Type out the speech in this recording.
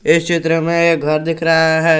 इस चित्र में एक घर दिख रहा है।